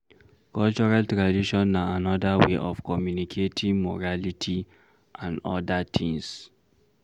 Cultural tradition na anoda wey of communicating morality and oda things